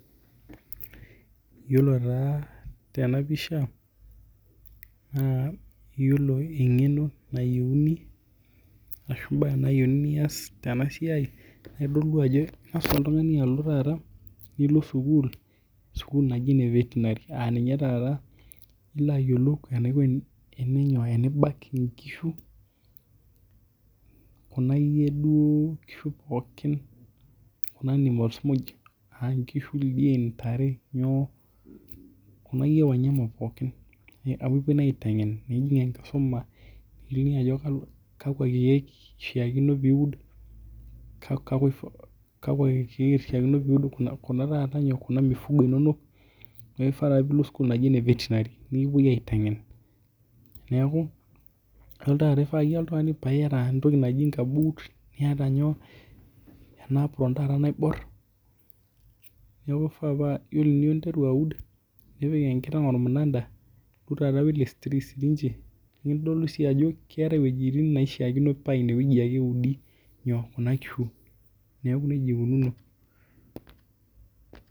Yiolo taa tenapisha ,na iyolo engeno nayieuni ashu mbaa nayiuni pias tenasiai na ingasa oltungani alo sukul, sukul naji ene veterinary aa ninye taata enibak nkishu aankishu, ldian, ntare nyoo nekipoi aitengennikiliki ajo kakwa kiek ishaakino piud kuna mifugo neaku kishaakino pilo sukul e veterinary nikipuoi aitengen neaku ifaa oltungani piata nkabut niataena apron taata naibor ore pinteru aud nipik enkiteng ormunada keetai wuejitin pakishakino oa inewueji ake eudi kuna kishu neaku nejia ikununo.